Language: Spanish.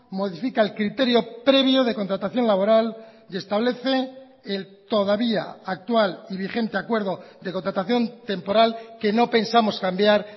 modifica el criterio previo de contratación laboral y establece el todavía actual y vigente acuerdo de contratación temporal que no pensamos cambiar